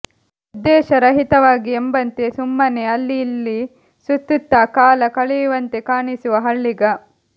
ಉದ್ದೇಶರಹಿತವಾಗಿ ಎಂಬಂತೆ ಸುಮ್ಮನೆ ಅಲ್ಲಿ ಇಲ್ಲ್ಲಿ ಸುತ್ತುತ್ತಾ ಕಾಲ ಕಳೆಯುವಂತೆ ಕಾಣಿಸುವ ಹಳ್ಳಿಗ